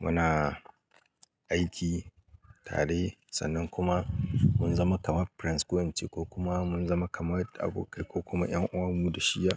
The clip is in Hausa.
muna aiki tare sannan kuma mun zama kamar friends ko an ce ko kuma mun zama kamar abokai ko kuma 'yan uwan mu da shi ya.